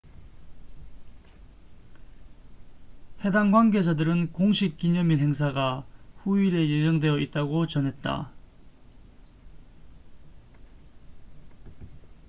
해당 관계자들은 공식 기념일 행사가 후일에 예정되어 있다고 전했다